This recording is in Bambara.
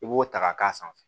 I b'o ta ka k'a sanfɛ